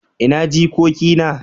ina jikoki na?